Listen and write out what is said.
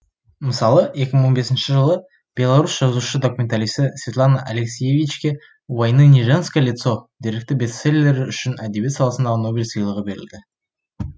мысалы екі мың он бесінші жылы беларус жазушы документалисі светлана алексиевичке у войны не женское лицо деректі бестселлері үшін әдебиет саласындағы нобель сыйлығы берілді